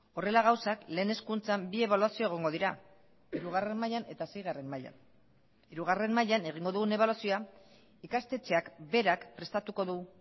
horrela gauzak lehen hezkuntzan bi ebaluazio egongo dira hirugarren mailan eta seigarren mailan hirugarren mailan egingo dugun ebaluazioa ikastetxeak berak prestatuko du